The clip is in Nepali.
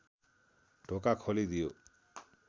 ढोका खोली दियो